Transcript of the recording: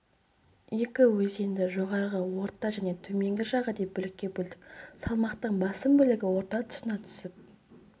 екі өзенді жоғарғы орта және төменгі жағы деп бөлікке бөлдік салмақтың басым бөлігі орта тұсына түсіп